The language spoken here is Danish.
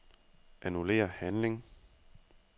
Annullér handling.